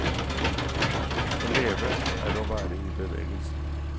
Å leve er å være i bevegelse.